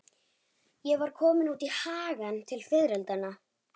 Ég var komin út í hagann til fiðrildanna.